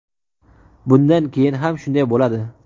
Bundan keyin ham shunday bo‘ladi.